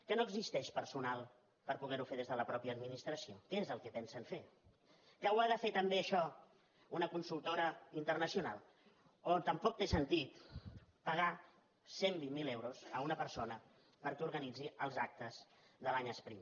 que no existeix personal per poder ho fer des de la mateixa administració què és el que pensen fer que ho ha de fer també això una consultora internacional o tampoc té sentit pagar cent i vint miler euros a una persona perquè organitzi els actes de l’any espriu